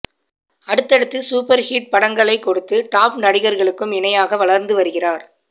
அடுத்தடுத்து super hit படங்களை கொடுத்து டாப் நடிகர்களுக்கும் இணையாக வளர்ந்து வருகிறார்